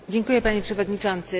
Panie Przewodniczący!